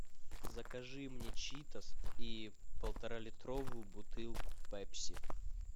закажи мне читос и полтора литровую бутылку пепси